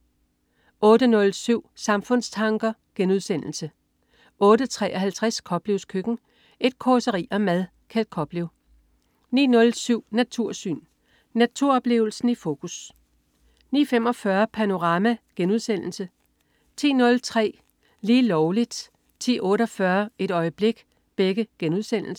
08.07 Samfundstanker* 08.53 Koplevs Køkken. Et causeri om mad. Kjeld Koplev 09.07 Natursyn. Naturoplevelsen i fokus 09.45 Panorama* 10.03 Lige Lovligt* 10.48 Et øjeblik*